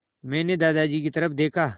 मैंने दादाजी की तरफ़ देखा